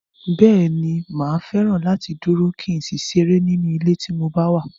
Bẹ́ẹ̀ni, mà á fẹ́ràn láti dúró, kí n sì ṣeré nínú ilé tí mo bá wà.